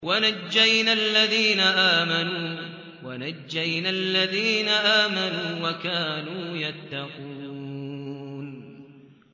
وَنَجَّيْنَا الَّذِينَ آمَنُوا وَكَانُوا يَتَّقُونَ